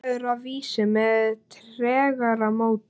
Samræður að vísu með tregara móti.